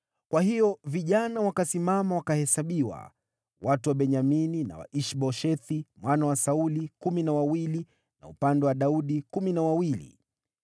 Kwa hiyo vijana wakasimama, wakahesabiwa: watu wa Benyamini na wa Ish-Boshethi mwana wa Sauli kumi na wawili, na upande wa Daudi kumi na wawili.